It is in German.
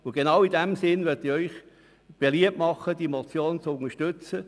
Und genau in diesem Sinn möchte ich Ihnen empfehlen, die Motion zu unterstützen.